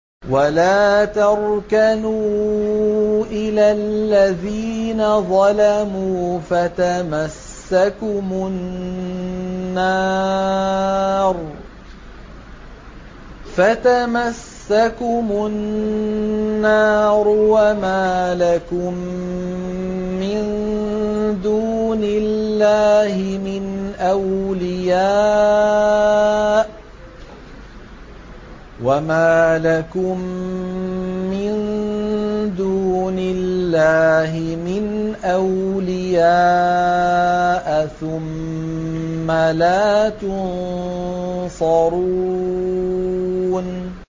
وَلَا تَرْكَنُوا إِلَى الَّذِينَ ظَلَمُوا فَتَمَسَّكُمُ النَّارُ وَمَا لَكُم مِّن دُونِ اللَّهِ مِنْ أَوْلِيَاءَ ثُمَّ لَا تُنصَرُونَ